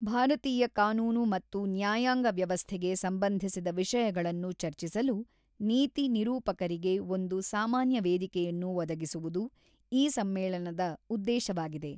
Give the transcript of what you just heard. ಭಾರತೀಯ ಕಾನೂನು ಮತ್ತು ನ್ಯಾಯಾಂಗ ವ್ಯವಸ್ಥೆಗೆ ಸಂಬಂಧಿಸಿದ ವಿಷಯಗಳನ್ನು ಚರ್ಚಿಸಲು ನೀತಿ ನಿರೂಪಕರಿಗೆ ಒಂದು ಸಾಮಾನ್ಯ ವೇದಿಕೆಯನ್ನು ಒದಗಿಸುವುದು ಈ ಸಮ್ಮೇಳನದ ಉದ್ದೇಶವಾಗಿದೆ.